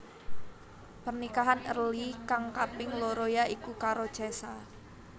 Pernikahan Early kang kaping loro ya iku karo Cesa